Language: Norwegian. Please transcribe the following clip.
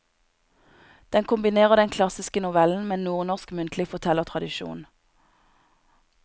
Den kombinerer den klassiske novellen med nordnorsk muntlig fortellertradisjon.